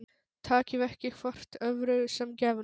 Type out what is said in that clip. Takið ekki hvort öðru sem gefnu